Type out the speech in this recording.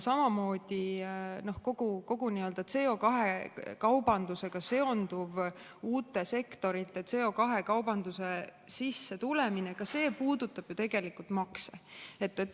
Samamoodi puudutab kogu CO2‑kaubandusega seonduv ja uute sektorite CO2-kaubandusse tulemine ju tegelikult makse.